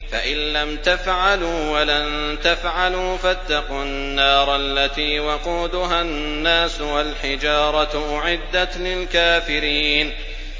فَإِن لَّمْ تَفْعَلُوا وَلَن تَفْعَلُوا فَاتَّقُوا النَّارَ الَّتِي وَقُودُهَا النَّاسُ وَالْحِجَارَةُ ۖ أُعِدَّتْ لِلْكَافِرِينَ